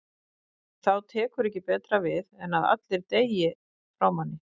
En þá tekur ekki betra við en það að allir deyja frá manni.